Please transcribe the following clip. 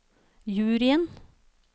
juryen